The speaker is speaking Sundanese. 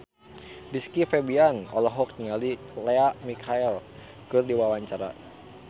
Rizky Febian olohok ningali Lea Michele keur diwawancara